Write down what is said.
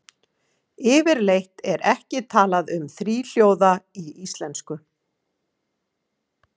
Yfirleitt er ekki talað um þríhljóða í íslensku.